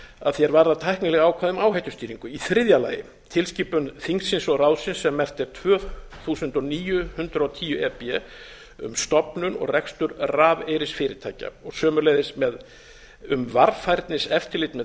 að því er varðar tæknileg ákvæði um áhættustýringu í þriðja lagi tilskipun evrópuþingsins og ráðsins sem merkt er tvö þúsund og níu hundrað og tíu e b um stofnun og rekstur rafeyrisfyrirtækja og sömuleiðis um varfærniseftirlit með þeim en það